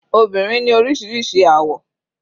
Obìnrin ni oríṣiríṣi àwọ̀.